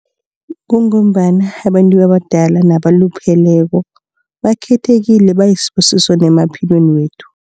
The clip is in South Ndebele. Kungombana abantu abadala nabalupheleko. Bakhethekile bayisibusiso nemaphilweni wethu.